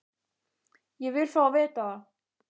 Ég vil fá að vita það!